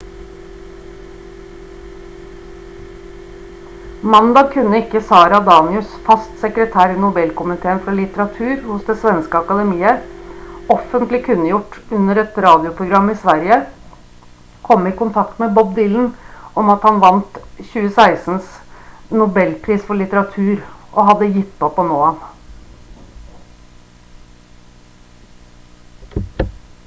mandag kunne ikke sara danius fast sekretær i nobelkomiteen for litteratur hos det svenske akademiet offentlig kunngjort under et radioprogram i sverige komme i kontakt med bob dylan om at han vant 2016s nobelpris for litteratur og hadde gitt opp å nå ham